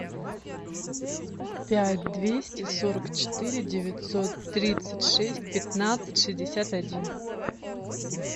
пять двести сорок четыре девятьсот тридцать шесть пятнадцать шестьдесят один